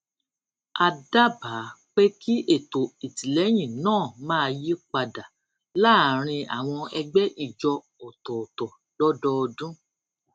a dábàá pé kí ètò ìtìlẹyìn náà máa yí padà láàárín àwọn ẹgbẹ ìjọ ọtọọtọ lódọọdún